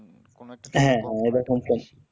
হ্যাঁ হ্যাঁ এইরকম তাই